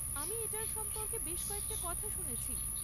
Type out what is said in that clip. আমি এটার সম্পর্কে বেশ কয়েকটা কথা শুনেছি।